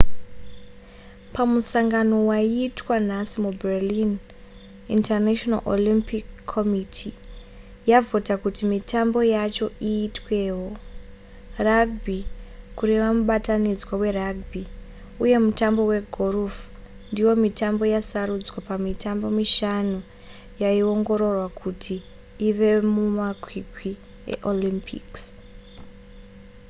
pamusangano wayaita nhasi muberlin international olympic committee yavhota kuti mitambo yacho iitwewo rugby kureva mubatanidzwa werugby uye mutambo wegorofu ndiyo mitambo yasarudzwa pamitambo mishanu yaiongororwa kuti ive mumakwikwi eolympics